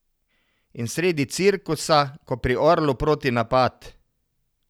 In sredi cirkusa, ko pri Orlu protinapad.